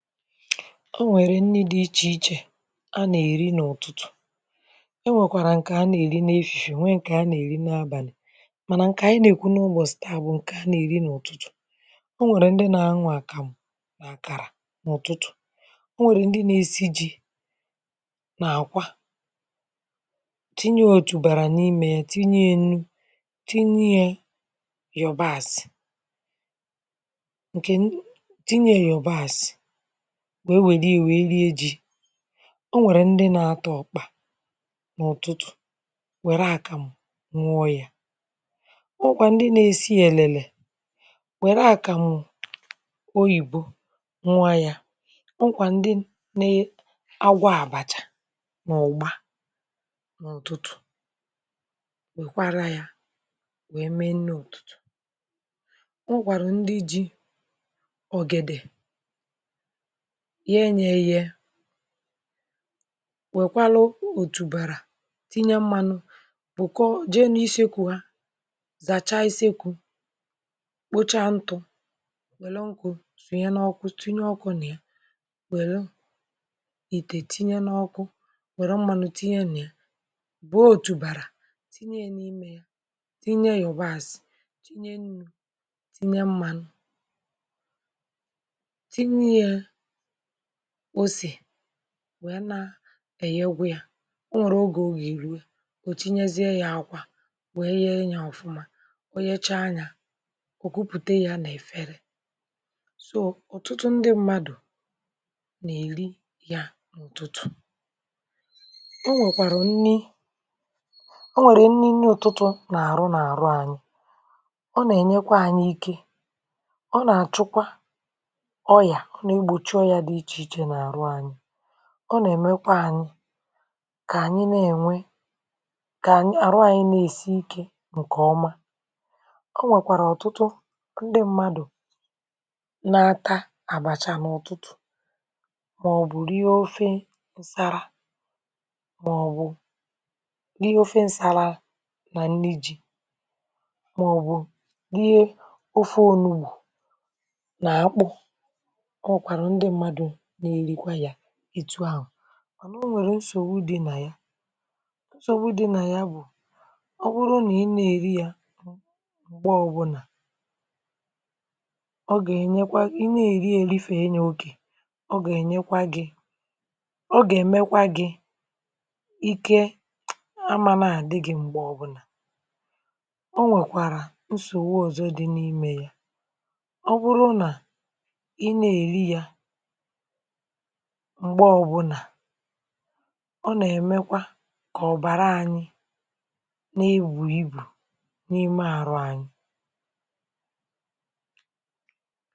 E nwerè nrì dị̀ iche ichè a na-erì nrì n’ụtụtụ̀ e nwèkwarà nkè a na-erì efifè nwè nkè a na-erì n’abàlì mānà nkè anyị̀ na-ekwu n’ubọchị̀ taa bụ̀ nkè a na-erì n’ụtụtụ o nwerè ndị̀ na-an̄ụ̀ akamụ̀ garà n’ụtụtụ o nwerè ndị̀ na-esì jì nà akwà tinyè ojubàrà n’imè yà tinyè yà unù tinyè yọbàsị̀ nke unù tinyè yà yọbasị̀ wee welì yà wee liè jì o nwerè ndị̀ na-atà ọkpà n’ụtụtụ werè akàmụ̀ n̄ụọ̀ yà o nwekwà ndị̀ na-esì elèlè werè akàmụ̀ oyibò nwà yà ọ nwekwà ndị̀ nee agwọ̀ abàchà n’ụgbà n’ụtụtụ nwekwàrà yà wee mee notù o nwekwàrà ndị̀ jì ogèdè ghe yà eghè nwkwàlụ̀ otùbalà tinyè mmanụ̀ bụkọ̀ jee n’isi kwụwà zachà isekwù kpochà ntụ̀ welù nkụ̀ tinyè n’ụkwụ̀ nà yà welù itè tinyè n’ọkụ̀ werè mmanụ̀ tinyè nà yà gbuò otùbarà tinyè yà n’imè yà tinyè yọbasị̀ tinyè unù tinyè mmanụ̀ tinyè yà osè wee na e ghewè yà o nwerè ogè ọ ga-eruè o tinyeziè yà akwà wee ghè yà ọfụ̀mà o ghechà yà o kuputè yà n’efèrè though, ọtụtụ ndị̀ mmadụ̀ na-erì yà n’ụtụtụ o nwekwàrà nnì o nwerè nnì nnì ụtụtụ̀ na-arụ̀ na-arụ̀ anyị̀ ọ na-enyèkwà anyị̀ ike ọ na-achụkwà ọyà ọ na-egbochì ọyà dị̀ ichè ichè n’arụ̀ anyị̀ ọ na-emèkwà anyị̀ kà anyị̀ na-enwè kà arụ̀ anyị̀ na-esì ike nkè ọmà ọ nwekwarà ọtụtụ ndị̀ mmadụ̀ n’aka abàchà n’ụtụtụ maọ̀bụ̀ riè ofè darà maọ̀bụ̀ riè ofè nsalà nà nnì ji maọ̀bụ̀ riè ofè onùgbù nà àakpụ̀ kọ̀kwànụ̀ ndị̀ mmadụ̀ na-erikwà yà etù ahụ̀ o nwerè nsogbù dị̀ nà yà nsogbù dị̀ nà yà bụ̀ ọ bụrụ̀ nà ị na-erì yà mgbè ọ bụlà ọ ga-enyekwà ị na-erì erìfè yà okè ọ ga-enyè kwà gị̀ ọ ga-emekwà gị̀ ike a manà adịgị̀ m̄gbè ọbụnà o nwèkwarà nsogbù ọzọ̀ dị̀ n’imè yà ọ bụrụ̀ nà ị na-erì yà m̄gbè ọbụnà ọ na-emekwà kà ọbàrà anyị̀ na-ebù ibù n’imè arụ̀ anyị̀